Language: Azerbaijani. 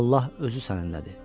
Allah özü səninlədir.